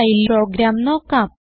while program നോക്കാം